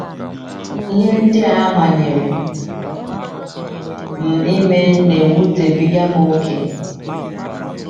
Ihe ndị a manyere m ime na - ewutebiga m ókè. ”